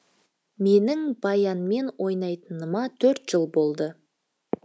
менің баянмен ойнайтыныма төрт жыл болды